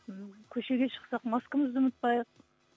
м көшеге шықсақ маскамызды ұмытпайық